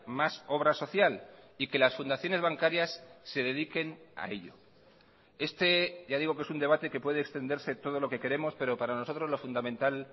más obra social y que las fundaciones bancarias se dediquen a ello este ya digo que es un debate que puede extenderse todo lo que queremos pero para nosotros lo fundamental